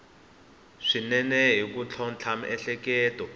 swinene ni ku tlhontlha miehleketo